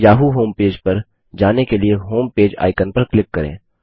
Yahoo homepage पर जाने के लिए होमपेज आइकन पर क्लिक करें